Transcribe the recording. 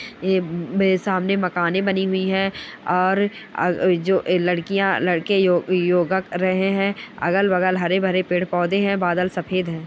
ये मेरे सामने मकान बने हुई है और य ये जो लड़कियां लड़के यो योगा कर रहे हैं अगल-बगल हरे-भरे पेड़-पौधे है बादल सफ़ेद है।